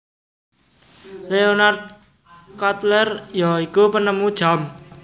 Leonard Cutler ya iku penemu jam